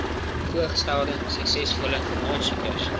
voorgestelde suksesvolle aansoekers